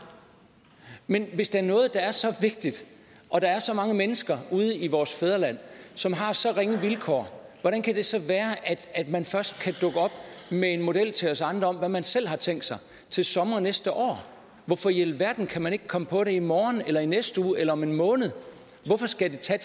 men hvis der er noget der er så vigtigt og der er så mange mennesker i vores fædreland som har så ringe vilkår hvordan kan det så være at man først kan dukke op med en model til os andre om hvad man selv har tænkt sig til sommer næste år hvorfor i alverden kan man ikke komme på det i morgen eller i næste uge eller om en måned hvorfor skal det tage